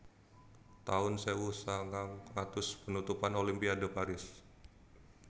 taun sewu sanganga atus Penutupan Olimpiade Paris